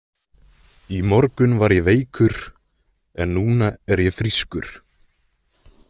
í morgun var ég veikur en núna er ég frískur.